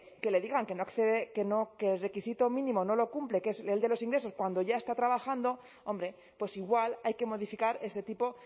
que le digan que el requisito mínimo no lo cumple que es el de los ingresos cuando ya está trabajando hombre pues igual hay que modificar ese tipo